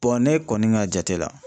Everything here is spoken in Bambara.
ne kɔni ka jate la